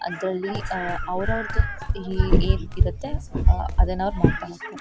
ಅದ್ರಲ್ಲಿ ಅಹ್ ಅವ್ರ ಅವ್ರದು ಹಿ ಹೇಗಿರುತ್ತೆ ಅಹ್ ಅದನ್ನ ಅವ್ರು ಮಾಡತ್ತ ಮಾಡತ್ತರೆ.